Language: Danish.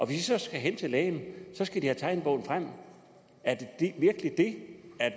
de så skal hen til lægen skal de have tegnebogen frem er det virkelig det